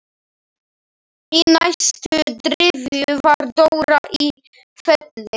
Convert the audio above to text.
Í næstu gryfju var Dóra í Felli.